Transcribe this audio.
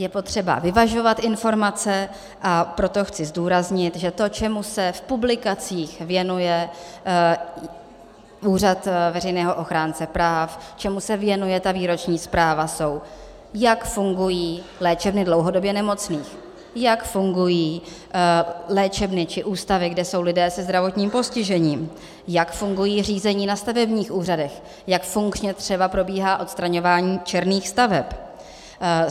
Je potřeba vyvažovat informace, a proto chci zdůraznit, že to, čemu se v publikacích věnuje Úřad veřejného ochránce práv, čemu se věnuje ta výroční zpráva, jsou, jak fungují léčebny dlouhodobě nemocných, jak fungují léčebny či ústavy, kde jsou lidé se zdravotním postižením, jak fungují řízení na stavebních úřadech, jak funkčně třeba probíhá odstraňování černých staveb.